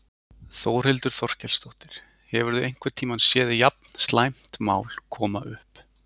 Þórhildur Þorkelsdóttir: Hefurðu einhvern tímann séð jafn slæmt mál koma upp?